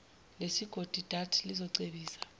lesigodi dat lizocebisa